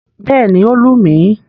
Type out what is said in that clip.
Bẹ́ẹ̀ni, ó lù mí.